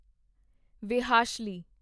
ਵਿਹਾਸ਼ਲੀ